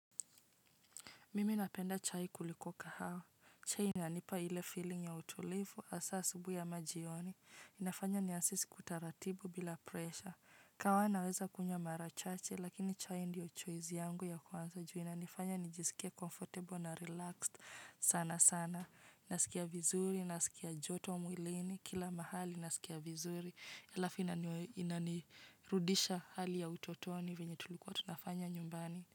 Mimi napenda chai kuliko kahawa. Chai inanipa ile feeling ya utulivu asa asubui ama jioni. Inafanya ni ansisi kutaratibu bila presha. Kaawa naweza kunya mara chache lakini chahi ndio choizi yangu ya kwanza ju ina nifanya nijisikia comfortable na relaxed sana sana. Nasikia vizuri, nasikia joto mwilini, kila mahali nasikia vizuri. Elafu inaninirudisha hali ya utotoni venye tulikuwa tunafanya nyumbani.